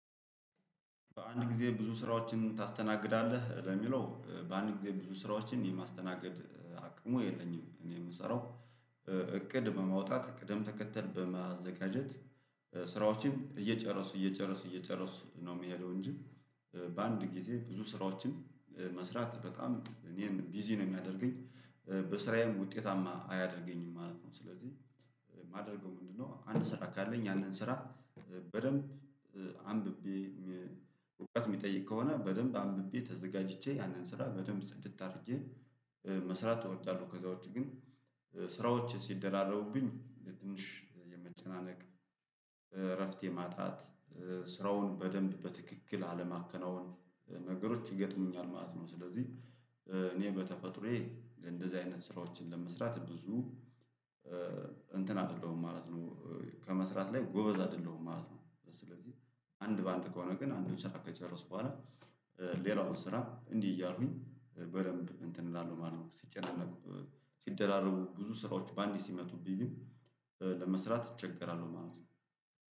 በአንድ ጊዜ ብዙ ስራዎችን ታስተናግዳለህ? ለሚለው በአንድ ጊዜ ብዙ ስራዎችን የማስተናገድ አቅሙ የለኝም እኔ የምሰራው እቅድ በማውጣት ቅደም ተከተል በማዘጋጀት ስራዎችን እየጨረሱ እየጨረሱ እየጨረሱ ነው የሚሄደው እንጂ በአንድ ጊዜ ብዙ ስራዎችን በመስራት በጣም እኔን ቢዚ ነው የሚያደርገኝ በስራዬም ውጤታማ አያደርገኝም ማለት ነው። ስለዚህ ማደርገው ምንድነው አንድ ስራ ካለኝ ያንን ስራ በደንብ አንብቤ እውቀት የሚጠይቅ ከሆነ በደንብ አንብቤ ተዘጋጅቼ ያንን ስራ በደንብ ጽድት አድርጄ መስራት እወጣለሁ። ከዛ ውጪ ግን ስራዎች ሲደራረቡብኝ ትንሽ የመጨናነቅ እረፍት የማጣት ስራውን በደንብ በትክክል አለማከናወን ነገሮች ይገጥሙኛል ማለት ነው። ስለዚህ እኔ በተፈጥሮዬ እንደዚህ አይነት ስራዎችን ለመስራት ብዙም እንትን አይደለሁም ማለት ነው። ከመስራት ላይ ጎበዝ አይደለሁም ማለት ነው። ስለዚህ አንድ በአንድ ከሆነ ግን አንዱ ስራ ከጨረስኩ በኋላ ሌላውን ስራ እንዲህ እያሉኝ በደንብ እንትን እላለሁ ማለት ነው። ሲጨናነቁ ሲደራረቡ ብዙ ስራዎች በአንዴ ሲመጡብኝ ግን ለመስራት እቸገራለሁ ማለት ነው